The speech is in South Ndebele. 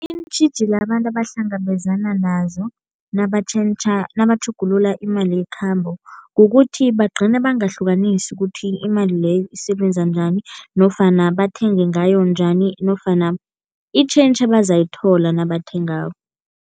Iintjhijilo abantu abahlangabezana nazo nabatjhentjha nabatjhugulula imali yekhambo kukuthi bagcine bangahlukanisi ukuthi imali leyo isebenza njani nofana bathenge ngayo njani nofana i-change abazayithola nabathengako.